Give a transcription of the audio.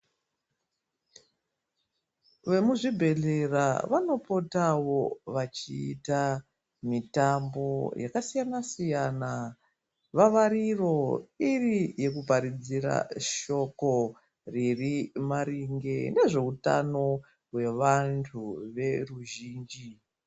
Vemuzvibhedhlera vanopotawo vachiita mitambo yakasiyana siyana vavariro iri yekuparudzira shoko riri maringe nezveutano hwevantu veruzhinji.